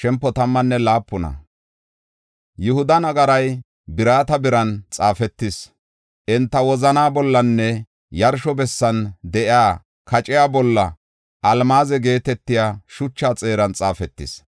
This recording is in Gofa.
“Yihuda nagaray birata biiren xaafetis; enta wozanaa bollanne yarsho bessan de7iya kaciya bolla almaaze geetetiya shucha xeeran xaafetis.